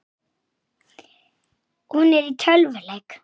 Ég er alltaf ein.